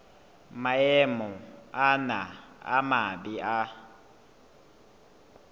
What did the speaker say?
maemo ana a mabe a